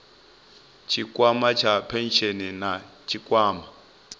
tshikwama tsha phesheni na tshikwama